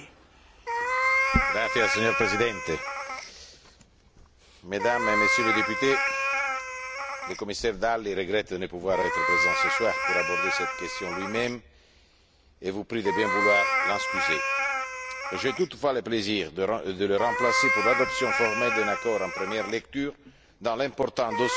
Monsieur le Président, Mesdames et Messieurs les députés, le commissaire Dalli regrette de ne pouvoir être présent ce soir pour aborder cette question lui même et vous prie de bien vouloir l'excuser. J'ai toutefois le plaisir de le remplacer pour l'adoption formelle d'un accord en première lecture dans l'important dossier de la pharmacovigilance.